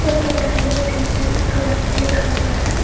इसपे target defence classes लिखा हुआ है।